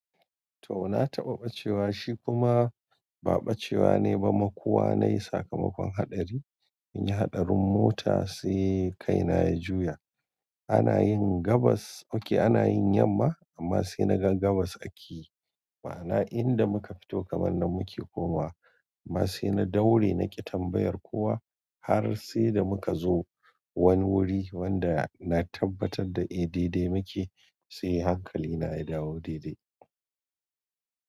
To! Na taɓa bacewa shi kuma ba bacewa ne ba makuwa nayi. Sakamakon haɗari, mun yi haɗarin mota sai kaina ya juya. Ana yin gabas, oke ana yin yamma amma sai na ga gabas ake. Ma'ana inda muka fito kaman nan muke komawa. Ma sai na daure naƙi tambayar kowa har sai da muka zo wani wuri wanda na tabbatar da eh daidai muke sai hankali na ya dawo daidai.